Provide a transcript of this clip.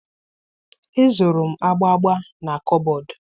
Ezoro m agba agba na kọbọd